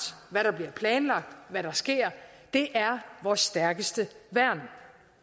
hvad der bliver planlagt hvad der sker det er vores stærkeste værn